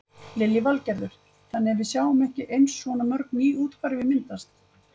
Lillý Valgerður: Þannig að við sjáum ekki eins svona mörg ný úthverfi myndast?